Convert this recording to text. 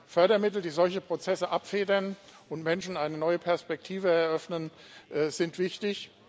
Fördermittel, die solche Prozesse abfedern und Menschen eine neue Perspektive eröffnen, sind wichtig.